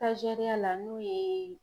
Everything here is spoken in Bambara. la n'o ye